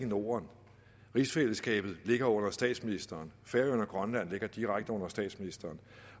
norden rigsfællesskabet ligger under statsministeren færøerne og grønland ligger direkte under statsministeren